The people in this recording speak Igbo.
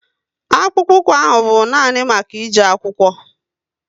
Akpụkpoukwu ahụ bụ nani maka e je akwụkwo